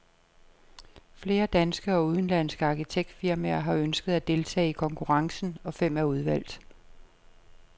Flere danske og udenlandske arkitektfirmaer har ønsket at deltage i konkurrencen, og fem er udvalgt.